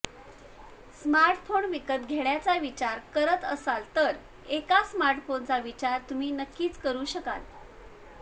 smartphone विकत घेण्याचा विचार करत असाल तर एका स्मार्टफोनचा विचार तुम्ही नक्कीच करू शकाल